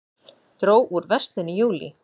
Dró úr verslun í júlí